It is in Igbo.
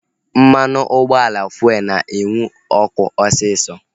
Mmanụ ụgbọala fuelu na-enwu ọkụ osisọ